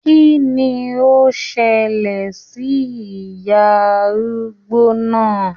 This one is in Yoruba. Kínní o ṣẹlẹ sí ìyá arúgbó náà?